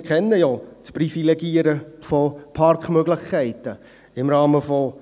Wir kennen ja das Privilegieren von Parkmöglichkeiten im Rahmen von